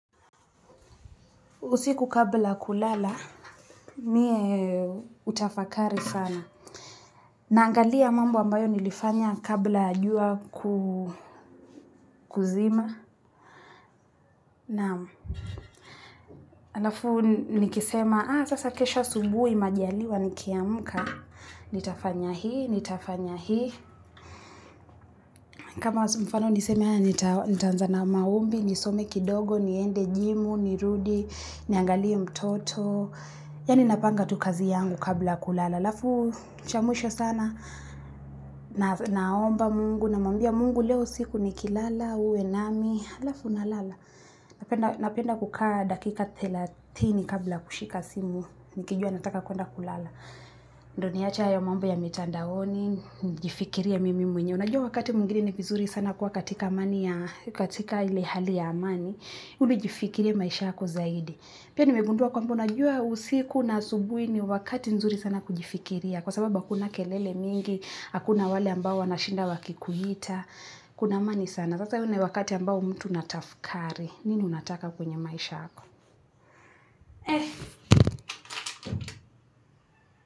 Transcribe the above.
Usiku kabla kulala, mie utafakari sana. Naangalia mambo ambayo nilifanya kabla ya jua kuzima. Naam. Alafu nikisema, aa sasa kesho asubuhi majaliwa nikiamuka. Nitafanya hii, nitafanya hii. Kama mfano niseme haya nitaanza na maombi, nisome kidogo, niende jimu, nirudi, niangalie mtoto. Yaani napanga tu kazi yangu kabla kulala. Alafu cha mwisho sana, naomba mungu, namwambia mungu leo usiku ni kilala, uwe nami, alafu na lala. Napenda kukaa dakika thelathini kabla kushika simu, nikijua nataka kuenda kulala. Ndio niache hayo mambo ya mitandaoni, nijifikirie mimi mwenye. Unajua wakati mwingine ni vizuri sana kuwa katika ile hali ya amani, uli jifikirie maisha yako zaidi. Pia nimegundua kwamba unajua usiku na asubuhi ni wakati nzuri sana kujifikiria. Kwa sababa hakuna kelele mingi, hakuna wale ambao wanashinda wakikuita. Kuna amani sana, sasa huu ni wakati ambao mtu unatafkari. Nini unataka kwenye maisha ako?